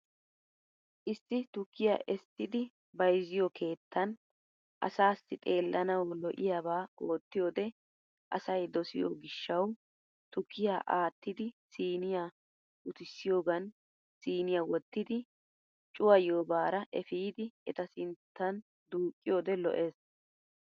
Isso tukkiya essidi bayizziyo keettaani asaasi xeellanawu lo'iyaabaa oottiyoode asay dosiyo hishshawu tukkiya aattiiddi siniya utissiyoogan siniya wottidi cuwayiyobaara ifidi eta sintta duuqqiyoode lo'es.